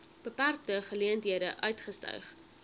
beperkte geleenthede uitgestyg